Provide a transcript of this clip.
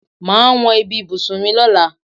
Màá wọn bí ibùsùn mi lóla.